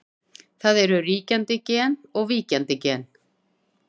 Hvað er ríkjandi gen og víkjandi gen?